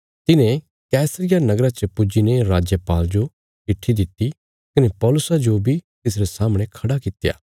तिन्हें कैसरिया नगरा च पुज्जी ने राजपाल जो चिट्ठी दित्ति कने पौलुसा जो बी तिसरे सामणे खड़ा कित्या